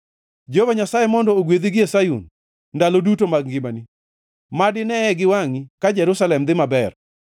Jehova Nyasaye mondo ogwedhi gie Sayun, ndalo duto mag ngimani; mad ineye gi wangʼi ka Jerusalem dhi maber,